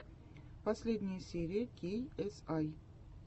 последняя серия кей эс ай